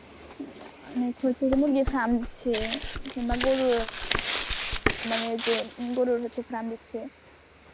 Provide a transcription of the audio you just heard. মুরগি এর ফার্ম দিচ্ছে কিংবা গরুর মানে যে গরুর হচ্ছে ফ্যান দিচ্ছে